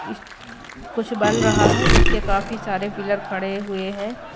इस कुछ बन रहा है जिसके काफी सारे पिलर खड़े हुए हैं।